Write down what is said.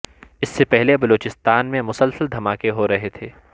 اس سے پہلے بلوچستان میں مسلسل دھماکے ہو رہے تھے